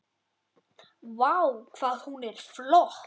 Vá, hvað hún er flott!